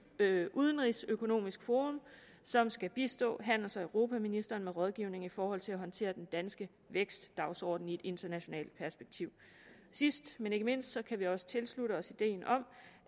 udenrigsøkonomisk forum som skal bistå handels og europaministeren med rådgivning i forhold til at håndtere den danske vækstdagsorden i et internationalt perspektiv sidst men ikke mindst kan vi også tilslutte os ideen om